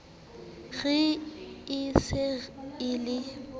re e se e le